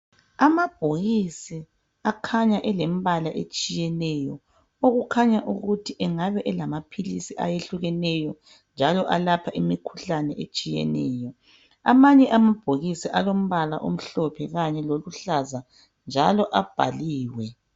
Amabhokisi akhanya elembala etshiyeneyo okukhanya ukuthi engaba elamapilisi ayehlukeneyo njalo alapha imikhuhlane etshiyeneyo, amanye amabhokisi alombala omhlophe kanye loluhlaza njalo abhaliwe.